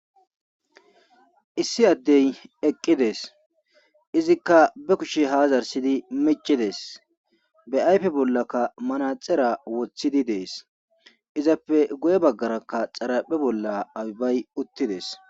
issi addey eqqides izikka be kushe haazarsidi micides be7aype bollakka manaxera wothidi dees izappe goye baggarakka xaraphe bolla abibay uttides